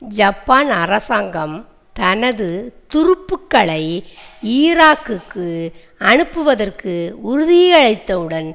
Japan அரசாங்கம் தனது துருப்புக்களை ஈராக்கிற்கு அனுப்புவதற்கு உறுதியளித்தவுடன்